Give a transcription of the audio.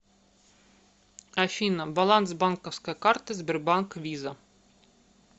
афина баланс банковской карты сбербанк виза